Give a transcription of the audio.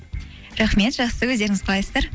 рахмет жақсы өздеріңіз қалайсыздар